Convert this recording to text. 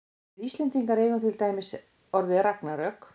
við íslendingar eigum til dæmis orðið ragnarök